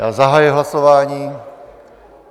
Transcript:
Já zahajuji hlasování.